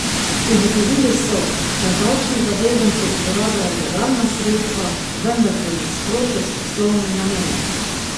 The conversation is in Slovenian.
Ugotovili so, da davčni zavezanci uporabljajo legalna sredstva, vendar v nasprotju s poslovnim namenom.